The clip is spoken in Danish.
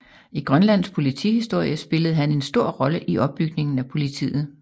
I Grønlands politihistorie spillede han en stor rolle i opbygningen af politiet